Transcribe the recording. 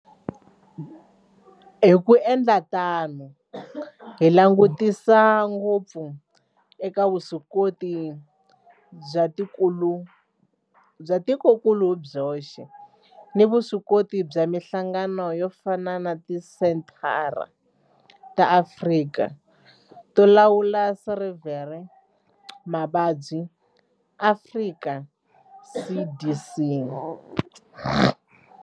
Hi ku endla tano hi langutisa ngopfu eka vuswikoti bya tikokulu hi byoxe, vuswikoti na mihlangano yo fana na Tisenthara ta Afrika to Lawula no Sivela Mavabyi, Afrika CDC.